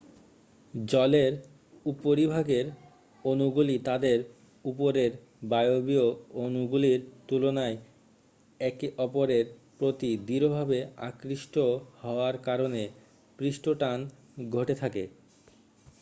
জলের উপরিভাগের অণুগুলি তাদের উপরের বায়বীয় অণুগুলির তুলনায় একে অপরের প্রতি দৃঢ়ভাবে আকৃষ্ট হওয়ার কারণে পৃষ্ঠটান ঘটে থাকে